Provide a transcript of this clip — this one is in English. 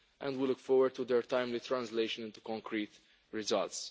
We look forward to their timely translation into concrete results.